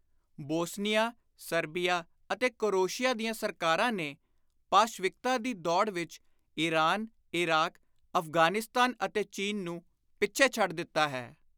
Bosnia, Serbia ਅਤੇ Croatia ਦੀਆਂ ਸਰਕਾਰਾਂ ਨੇ ਪਾਸ਼ਵਿਕਤਾ ਦੀ ਦੌੜ ਵਿਚ ਈਰਾਨ, ਇਰਾਕ, ਅਫ਼ਗ਼ਾਨਿਸਤਾਨ ਅਤੇ ਚੀਨ ਨੂੰ ਪਿੱਛੇ ਛੱਡ ਦਿੱਤਾ ਹੈ।